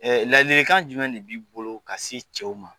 lalikan jumɛn de b'i bolo ka se cɛw ma ?